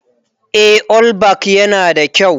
Eh, allback yana da kyau.